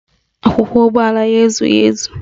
Akwụkwọ ụgbọala ya ezughị ezu